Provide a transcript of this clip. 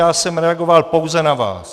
Já jsem reagoval pouze na vás.